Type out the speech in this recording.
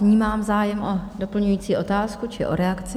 Vnímám zájem o doplňující otázku či o reakci.